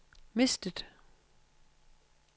mistet